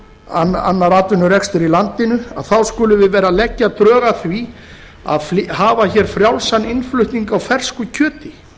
og annar atvinnurekstur í landinu að þá skulum við vera að leggja drög að því að hafa hér frjálsan innflutning á fersku kjöti